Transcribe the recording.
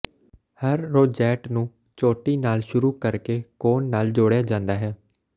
ਹਰ rosette ਨੂੰ ਚੋਟੀ ਨਾਲ ਸ਼ੁਰੂ ਕਰਕੇ ਕੋਨ ਨਾਲ ਜੋੜਿਆ ਜਾਂਦਾ ਹੈ